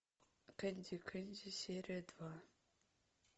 кенди кенди серия два